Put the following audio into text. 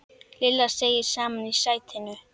Lilla seig saman í sætinu.